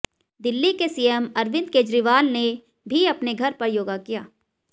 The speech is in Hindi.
दिल्ली के सीएम अरविंद केजरीवाल ने भी अपने घर पर योगा किया